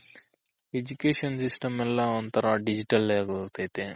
Education System ಎಲ್ಲ ಒಂತರ digital ಆಗೋಗ್ತೈತೆ